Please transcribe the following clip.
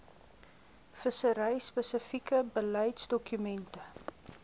vissery spesifieke beleidsdokumente